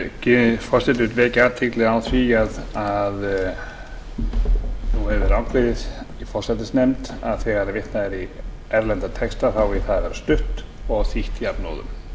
lýkur forseti vill vekja athygli á því að nú hefur verið ákveðið af forsætisnefnd þegar vitnað er í erlenda texta þá eigi það að vera stutt og þýtt jafnóðum á